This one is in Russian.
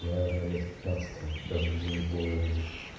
наверное лет с пятнадцати каждый день голову мыть